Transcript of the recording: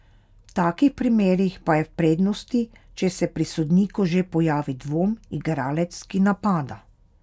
V takih primerih pa je v prednosti, če se pri sodniku že pojavi dvom, igralec, ki napada.